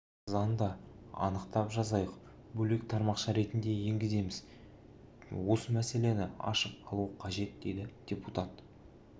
заңда анықтап жазайық бөлек тармақша ретінде енгіземіз бе осы мәселені ашып алу қажет дейді депутат